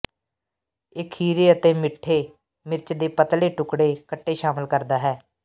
ਇਹ ਖੀਰੇ ਅਤੇ ਮਿੱਠੇ ਮਿਰਚ ਦੇ ਪਤਲੇ ਟੁਕੜੇ ਕੱਟੇ ਸ਼ਾਮਿਲ ਕਰਦਾ ਹੈ